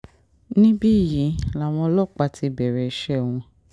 níbí yìí làwọn ọlọ́pàá ti bẹ̀rẹ̀ iṣẹ́ wọn